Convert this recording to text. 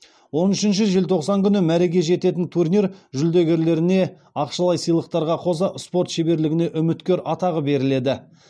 он үшінші желтоқсан күні мәреге жететін турнир жүлдегерлеріне ақшалай сыйлықтарға қоса спорт шеберлігіне үміткер атағы беріледі